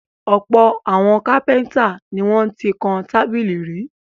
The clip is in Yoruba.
Ọ̀pọ̀ àwọn kápẹ́ńtà ni wọ́n ti kan tábìlì rí.